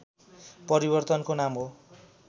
परिवर्तनको नाम हो